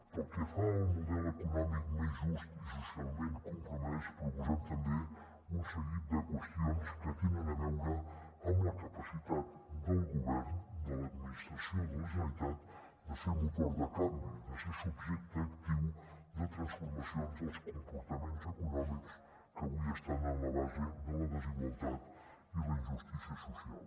pel que fa al model econòmic més just i socialment compromès proposem tam·bé un seguit de qüestions que tenen a veure amb la capacitat del govern de l’admi·nistració de la generalitat de ser motor de canvi de ser subjecte actiu de transfor·macions dels comportaments econòmics que avui estan en la base de la desigualtat i la injustícia social